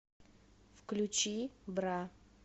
включи бра